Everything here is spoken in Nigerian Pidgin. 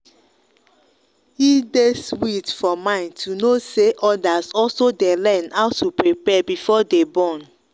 e day sweet for mind to know say others also day learn how to prepare before them born.